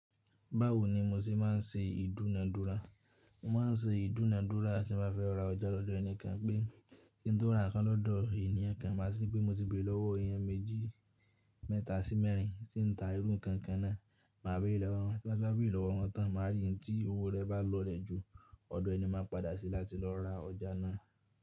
Báwo ni mo ṣe má n se ìdúnadúrà? Mo ma n se ìdúnadúrà tí n ba fẹ́ ra ọjà lọ́dọ́ ẹnikan pé kí n to ra nǹkan lọ́dọ̀ ènìyàn kan máa ti ri pé mo ti béèrè lọ́wọ́ èèyàn méjì, mẹ́ta sí mẹ́rin tí n ta irú nǹkan kan náa. Ma béèrè lọ́wọ́ wọn, tí n bá ti wa béèrè lọ́wọ́ wọn tán, màá rí n tí owó rẹ̀ bá lọlẹ̀ jù. Ọ̀dọ̀ ẹni màá padà sí láti lọ ra ọjà náà.